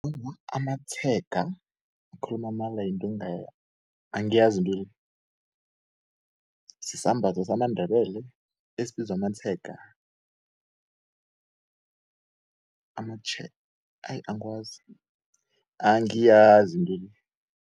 Awa, amatshega ngikhuluma amala yinto angiyazi intwele, sisambatho samandebele esibizwa amatshega?. angiyazi intwele.